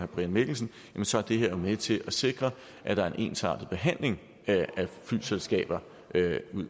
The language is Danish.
brian mikkelsen så er det her jo med til at sikre at der er en ensartet behandling af flyselskaber